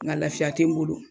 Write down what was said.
Nga lafiya tɛ n bolo.